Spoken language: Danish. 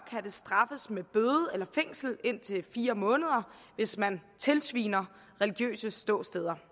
det straffes med bøde eller fængsel i indtil fire måneder hvis man tilsviner religiøse ståsteder